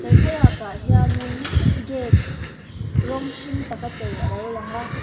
he thlalak ah hianin gate rawng hring tak a chei alo lang a.